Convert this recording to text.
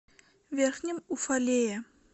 верхнем уфалее